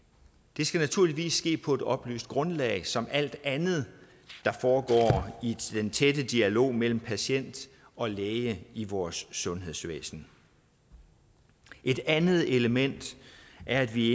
det skal naturligvis ske på et oplyst grundlag som alt andet der foregår i den tætte dialog mellem patient og læge i vores sundhedsvæsen et andet element er at vi